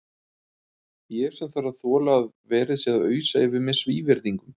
Ég sem þarf að þola að verið sé að ausa yfir mig svívirðingum.